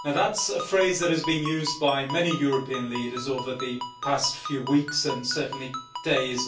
That is a phrase that has been used by many European leaders over the past few weeks and indeed days.